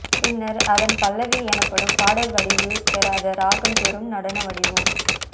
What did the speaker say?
பின்னர் அதன் பல்லவி எனப்படும் பாடல் வடிவு பெறாத ராகம் பெறும் நடன வடிவும்